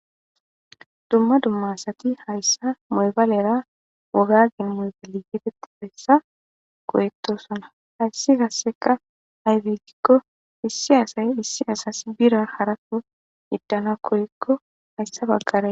Dumma dummasati hayssa moybalera wogagin moybali yideti pessa koyettosana hayssi kasseka hayfegikko issi asay issi asas bira haratu yiddana korikko hayssa baggare.